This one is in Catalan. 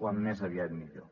com més aviat millor